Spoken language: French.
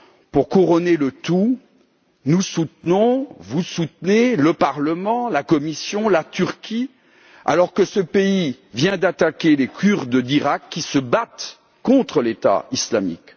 Pour couronner le tout, nous soutenons et vous, le Parlement et la Commission, soutenez la Turquie alors que ce pays vient d'attaquer les Kurdes d'Iraq qui se battent contre l'État islamique.